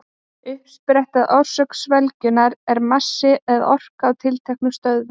Uppspretta eða orsök sveigjunnar er massi eða orka á tilteknum stöðum.